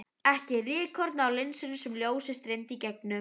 Ekki rykkorn á linsunni sem ljósið streymdi í gegnum.